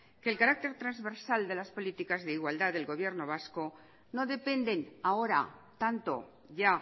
que el carácter transversal de las políticas de igualdad del gobierno vasco no dependen ahora tanto ya